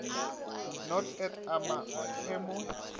no et a ma emo